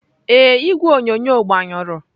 Ee, igwe onyonyo agbanyụrụ.